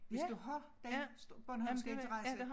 Hvis du har den bornholmske interesse